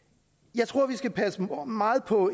jeg tror vi skal passe meget på